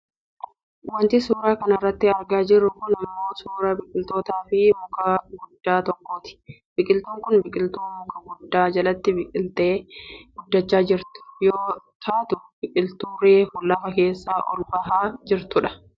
Wanti suuraa kanarratti argaa jiru kun ammoo suuraa boqiltuutifi muka guddaa tokkooti. Biqiltuun kun biqiltuu muka guddaa jalatti biqiltee guddachaa jirtu yoo taatu biqiltuu reefu lafa keessaa ol bahaa jirtudha